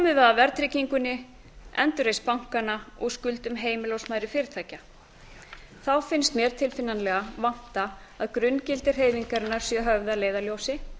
við að verðtryggingunni endurreisn bankanna og skuldum heimila og smærri fyrirtækja þá finnst mér tilfinnanlega vanta að grunngildi hreyfingarinnar séu höfð að leiðarljósi